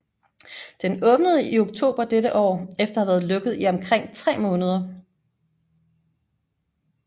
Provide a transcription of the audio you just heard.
Den åbnede i oktober dette år efter at have været lukket i omkring 3 måneder